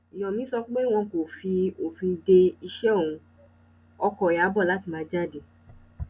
yomi sọ pé wọn kò fi òfin de iṣẹ òun ọkọ ìyàbọ láti má jáde